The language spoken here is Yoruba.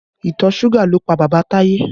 Ìtọ̀ suga ló pa bàbá Taye